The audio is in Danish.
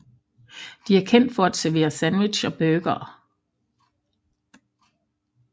De er kendt for at servere sandwich og burgere